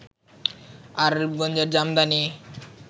আর রূপগঞ্জের জামদানি